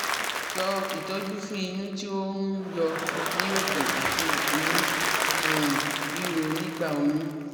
So itoju fun iyun ti o n yo ni obo ati inu um riro nigba oyun